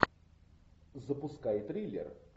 запускай триллер